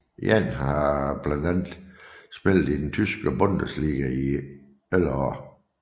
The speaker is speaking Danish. Jann har blandt andet spillet i den Tyske Bundesliga i 11 år